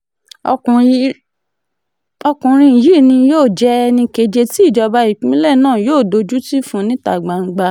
ọkùnrin yìí ni yóò jẹ́ ẹnì keje tí ìjọba ìpínlẹ̀ náà yóò dojútì fún níta gbangba